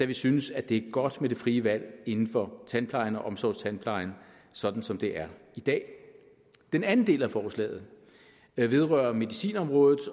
vi synes at det er godt med det frie valg inden for tandplejen og omsorgstandplejen sådan som det er i dag den anden del af forslaget vedrører medicinområdet